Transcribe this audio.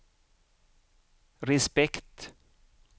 respekt